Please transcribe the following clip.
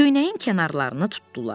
Köynəyin kənarlarını tutdular.